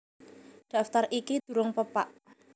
Daftar iki durung pepak